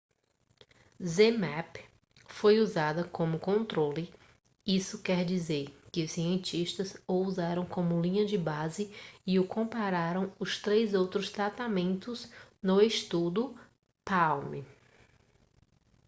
zmapp foi usado como controle isso quer dizer que os cientistas o usaram como linha de base e o compararam os três outros tratamentos no estudo palm